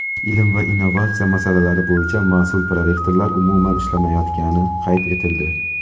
ilm va innovatsiya masalalari bo‘yicha mas’ul prorektorlar umuman ishlamayotgani qayd etildi.